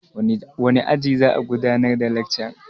Wane aji za'a gudanar da lekcan?